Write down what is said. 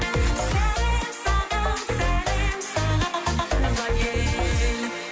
сәлем саған сәлем саған туған ел